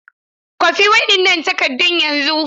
Kwafi waɗannan takaddun yanzu!